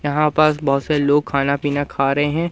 यहां पास बहुत सारे लोग खाना पीना खा रहे हैं।